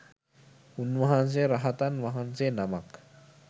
උන්වහන්සේ රහතන් වහන්සේ නමක්